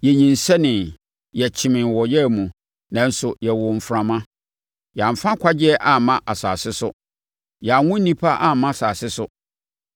Yɛnyinsɛnee, yɛkyemee wɔ ɔyea mu nanso yɛwoo mframa. Yɛamfa nkwagyeɛ amma asase so; yɛanwo nnipa amma asase so.